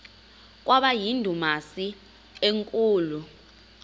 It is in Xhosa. kwaba yindumasi enkulu